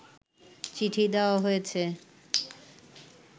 চিঠি দেওয়া হয়েছে